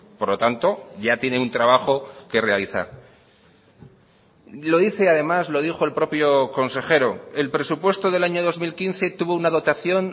por lo tanto ya tiene un trabajo que realizar lo dice además lo dijo el propio consejero el presupuesto del año dos mil quince tuvo una dotación